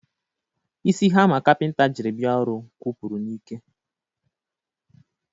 Isi hama kapinta jiri bia ọrụ kwụpụrụ n'ike.